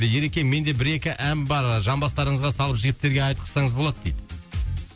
ереке менде бір екі ән бар жамбастарыңызға салып жігіттерге айтқызсаңыз болады дейді